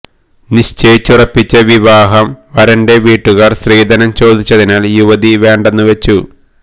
നിശ്ചയിച്ചുറപ്പിച്ച വിവാഹം വരന്റെ വീട്ടുകാര് സ്ത്രീധനം ചോദിച്ചതിനാല് യുവതി വേണ്ടെന്നു വെച്ചു